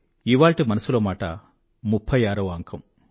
ఇవాళ్టి మనసులో మాట 36వ అంకం